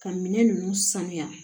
Ka minɛn ninnu sanuya